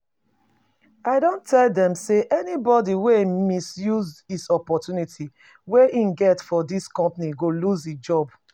I don tell them say anybody wey misuse his opportunity wey he get for this company go loose his job